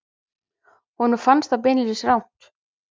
Honum fannst það beinlínis rangt.